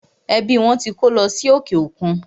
Ẹbí wọn tí kó lọ sí òkè òkun.